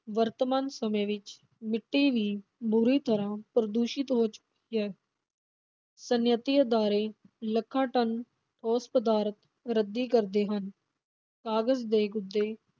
ਵਰਤਮਾਨ ਸਮੇਂ ਵਿਚ ਮਿੱਟੀ ਵੀ ਬੁਰੀ ਤਰ੍ਹਾਂ ਪ੍ਰਦੂਸ਼ਿਤ ਹੋ ਚੁੱਕੀ ਹੈ ਸਨਅੱਤੀ ਅਦਾਰੇ ਲੱਖਾਂ ਟਨ ਠੋਸ ਪਦਾਰਥ ਰੱਦੀ ਕਰਦੇ ਹਨ, ਕਾਗਜ਼ ਦੇ ਗੁੱਦੇ